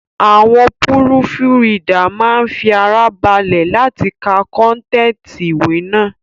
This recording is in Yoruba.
Àwọn púrùfùridà máa ń fi ara balẹ̀ láti ka kọ́ntẹ̀tì ìwé náà